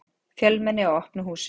Fjölmenni á opnu húsi